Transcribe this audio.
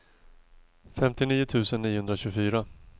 femtionio tusen niohundratjugofyra